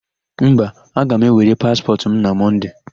Mba. aga m ewere paspọtụ m na Mọnde.